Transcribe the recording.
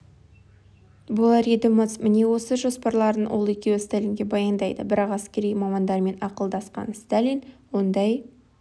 болар еді-мыс міне осы жоспарларын ол екеуі сталинге баяндайды бірақ әскери мамандармен ақылдасқан сталин ондай